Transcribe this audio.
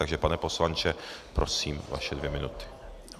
Takže pane poslanče, prosím, vaše dvě minuty.